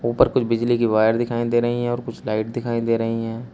उपर कुछ बिजली की वायर दिखाई दे रही हैं और कुछ लाइट दिखाई दे रही हैं।